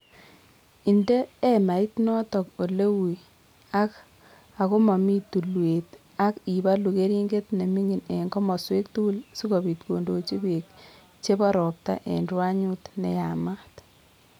Inde emait notok ole ui ak ko mami tulwek ak ibalu keriinget ne ming'in eng' komoswek tugul si kobiit koindochi peek che po ropta eng' rwanyut ne yaamaat.